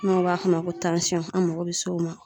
N'o b'a f'o ma ko an mago bɛ se o ma.